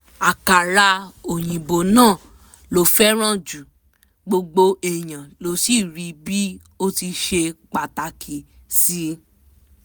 àkàrà òyìnbó náà ló fẹ́ràn jù gbogbo èèyàn ló sì rí i bí ó ti ṣe pàtàkì sí í